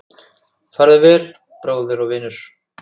Farðu vel, bróðir og vinur.